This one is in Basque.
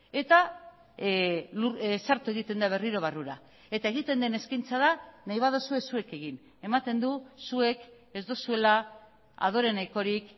eta sartu egiten da berriro barrura eta egiten den eskaintza da nahi baduzue zuek egin ematen du zuek ez duzuela adore nahikorik